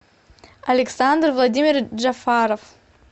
александр владимирович джафаров